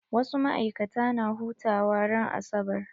Wasu maikata na hutawa ran asabar.